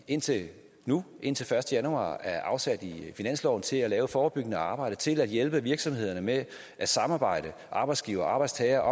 indtil nu indtil første januar er afsat i finansloven til at lave forebyggende arbejde til at hjælpe virksomhederne med at samarbejde arbejdsgivere og arbejdstagere